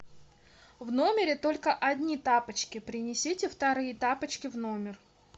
в номере только одни тапочки принесите вторые тапочки в номер